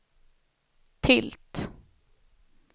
tilt